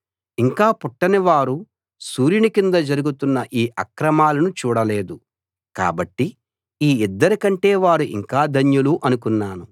ఇంకా పుట్టని వారు సూర్యుని కింద జరుగుతున్న ఈ అక్రమాలను చూడలేదు కాబట్టి ఈ ఇద్దరి కంటే వారు ఇంకా ధన్యులు అనుకున్నాను